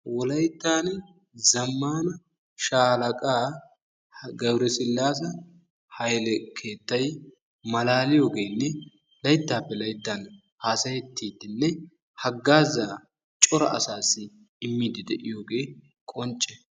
wolaytaani zamaana shaalaqa gabere silase haylle keettay malaaliyogenne laytaappe layttan haasayetiidine hagaazaa cora asaassi immiyoge qoncce.